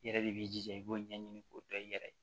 I yɛrɛ de b'i jija i b'o ɲɛɲini k'o dɔn i yɛrɛ ye